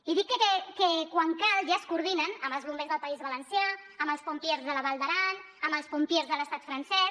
i dic que quan cal ja es coordinen amb els bombers del país valencià amb els pompièrs de la val d’aran amb els pompiers de l’estat francès